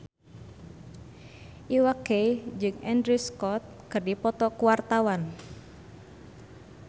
Iwa K jeung Andrew Scott keur dipoto ku wartawan